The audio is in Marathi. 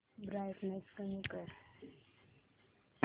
ब्राईटनेस कमी कर